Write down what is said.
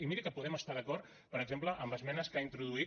i miri que podem estar d’acord per exemple amb esmenes que ha introduït